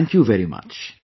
Thank you very much